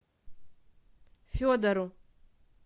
федору